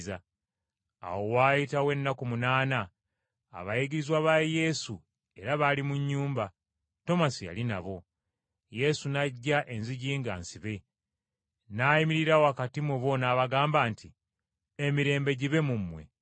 Bwe waayitawo ennaku munaana, abayigirizwa ba Yesu, era bali mu nnyumba, Tomasi yali nabo. Yesu n’ajja, enzigi nga nsibe, n’ayimirira wakati mu bo n’abagamba nti, “Emirembe gibe mu mmwe,”